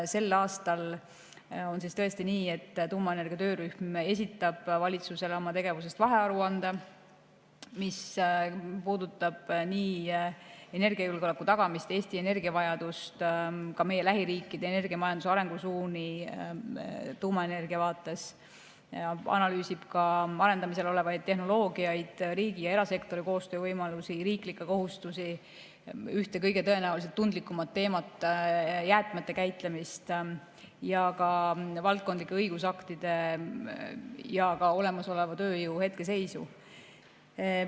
Sel aastal on tõesti nii, et tuumaenergia töörühm esitab valitsusele oma tegevuse vahearuande, mis puudutab energiajulgeoleku tagamist, Eesti energiavajadust, ka meie lähiriikide energiamajanduse arengusuundi tuumaenergia vaates, analüüsib arendamisel olevaid tehnoloogiaid, riigi ja erasektori koostöövõimalusi, riiklikke kohustusi, ühte tõenäoliselt kõige tundlikumat teemat ehk jäätmete käitlemist, ja ka valdkondlike õigusaktide ja olemasoleva tööjõu hetkeseisu.